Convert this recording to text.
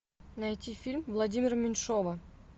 найти фильм владимира меньшова